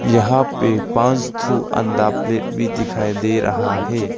यहां पे पांच थु अंडा प्लेट भी दिखाई दे रहा है।